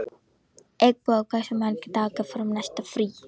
Eggþór, hversu margir dagar fram að næsta fríi?